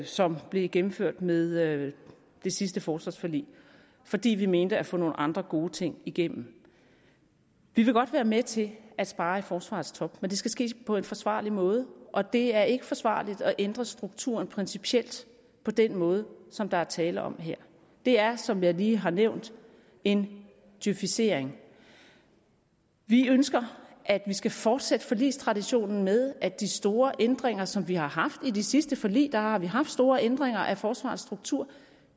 som blev gennemført med det sidste forsvarsforlig fordi vi mente at få nogle andre gode ting igennem vi vil godt være med til at spare i forsvarets top men det skal ske på en forsvarlig måde og det er ikke forsvarligt at ændre strukturen principielt på den måde som der er tale om her det er som jeg lige har nævnt en djøfisering vi ønsker at vi skal fortsætte forligstraditionen med at de store ændringer som vi har haft i de sidste forlig der har vi haft store ændringer af forsvarets struktur